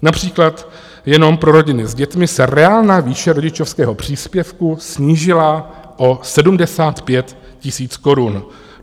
Například jenom pro rodiny s dětmi se reálná výše rodičovského příspěvku snížila o 75 000 korun.